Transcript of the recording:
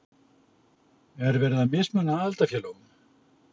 Er verið að mismuna aðildarfélögum?